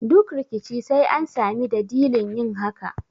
Duk rikici sai an sami dadilin yin hakan